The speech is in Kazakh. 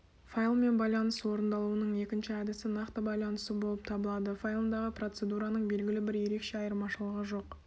файлымен байланыс орындалуының екінші әдісі нақты байланысу болып табылады файлындағы процедураның белгілі бір ерекше айырмашылығы жоқ